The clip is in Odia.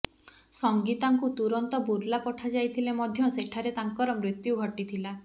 ସଂଗୀତାଙ୍କୁ ତୁରନ୍ତ ବୁର୍ଲା ପଠାଯାଇଥିଲେ ମଧ୍ୟ ସେଠାରେ ତାଙ୍କର ମୃତ୍ୟୁ ଘଟିଥିଲା